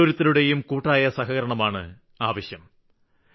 നിങ്ങള് ഓരോരുത്തരുടേയും കൂട്ടായ സഹകരണമാണ് ആവശ്യം